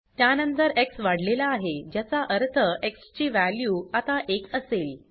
त्यानंतर एक्स वाढलेला आहे ज्याचा अर्थ एक्स ची वॅल्यू आता 1 असेल